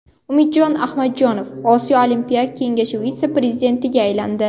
Umid Ahmadjonov Osiyo Olimpiya Kengashi vitse-prezidentiga aylandi.